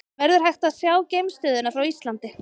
Verður hægt að sjá geimstöðina frá Íslandi?